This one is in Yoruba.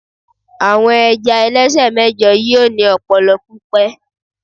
àwọn ẹja ẹlẹsẹ mẹjọ yíò ni ọpọlọ pipẹ